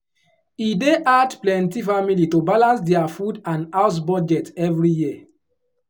e dey hard plenty family to balance dia food and house budget every year